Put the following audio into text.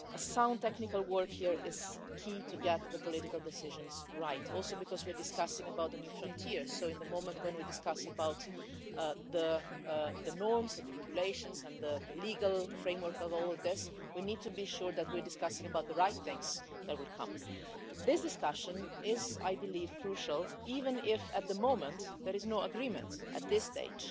Sound technical work here is key to getting the political decisions right, also because we are discussing a new frontier, so at the time we are discussing the norms and the regulations and the legal framework for all of this, we need to be sure that we are discussing the right things that will come. This discussion is I believe crucial, even if at the moment there is no agreement at this stage